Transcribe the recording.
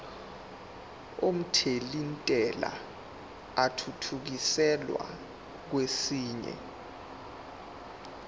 omthelintela athuthukiselwa kwesinye